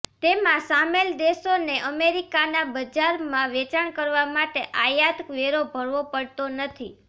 તેમાં સામેલ દેશોને અમેરિકાના બજારમાં વેચાણ કરવા માટે આયાત વેરો ભરવો પડતો નથી